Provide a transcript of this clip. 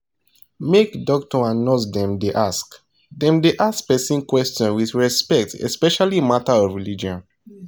make doctor and nurse dem da ask dem da ask person question with respect especially matter of religion